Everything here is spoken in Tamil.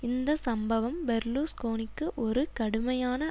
இந்த சம்பவம் பெர்லுஸ்கோனிக்கு ஒரு கடுமையான